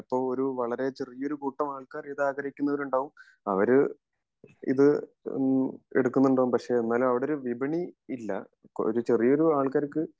ചെലപ്പോ വളരെ ചെറിയ ഒരു കൂട്ടം ആൾകാർ ഇത് ആഗ്രഹിക്കുന്നവരുണ്ടാവും അവര് ഇത് ഏഹ്മ് എടുക്കുണ്ടാവും പക്ഷെ എന്നാലും അവിടൊരു വിപണി ഇല്ല ഒരു ചെറിയൊരു ആൾക്കാർക്ക്